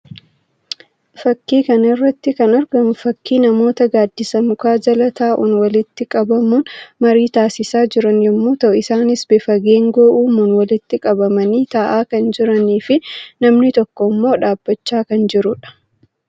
Fakkii kana irratti kan argamu fakkii namoota gaaddisa mukaa jala taa'uun walitti qabamuun marii taasisaa jiran yammuu ta'u; isaanis bifa geengoo uumuun walitti qanamanii ta'aa kan jiranii fi namni tokko immoo dhaabbachaa kan jiruu dha.